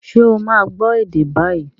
Ṣé ó máa gbọ́ ède bái?